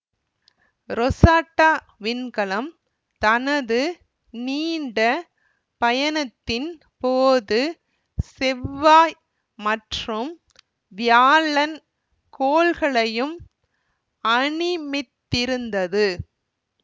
Rosetta விண்கலம் தனது நீண்ட பயணத்தின் போது செவ்வாய் மற்றும் வியாழன் கோள்களையும் அணிமித்திருந்தது